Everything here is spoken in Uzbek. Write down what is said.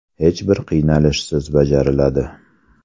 Hech bir qiynalishsiz bajariladi.